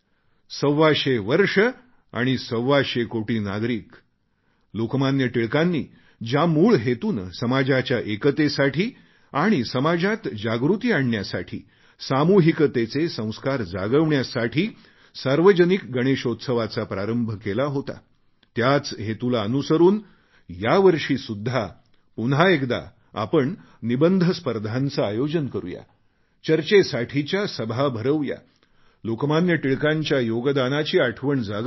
सव्वाशे वर्षं आणि सव्वाशे कोटी नागरिक लोकमान्य टिळकांनी ज्या मूळ हेतूने समाजाच्या एकतेसाठी आणि समाजात जागृती आणण्यासाठी सामूहिकतेचे संस्कार जागविण्यासाठी सार्वजनिक गणेशोत्सवाचा प्रारंभ केला होता त्याच हेतूला अनुसरून यावर्षीसुद्धा पुन्हा एकदा आपण निबंध स्पर्धांचे आयोजन करू या चर्चेसाठीच्या सभा भरवू या लोकमान्य टिळकांच्या योगदानाची आठवण जागवू या